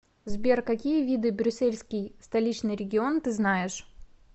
сбер какие виды брюссельский столичный регион ты знаешь